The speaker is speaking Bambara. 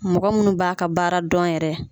Mɔgɔ munnu b'a ka baara dɔn yɛrɛ